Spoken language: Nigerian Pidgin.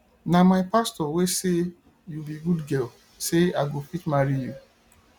na my pastor wey say you be good girl say i go fit marry you